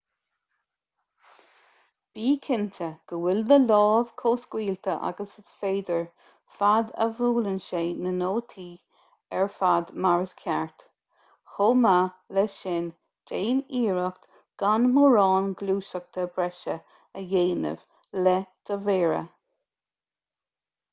bí cinnte go bhfuil do lámh chomh scaoilte agus is féidir fad a bhuaileann sé na nótaí ar fad mar is ceart chomh maith le sin déan iarracht gan mórán gluaiseachta breise a dhéanamh le do mhéara